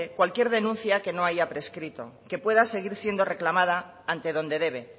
cualquier denuncia que no hay prescrito que pueda seguir siendo reclamada ante donde debe